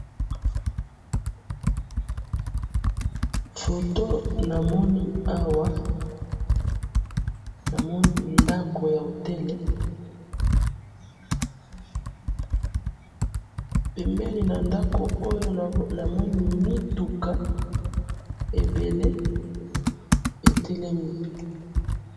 photo namoni awa namoni ndaku ya hotel pembeni na ndaku oyo namoni mituka ebele etelemi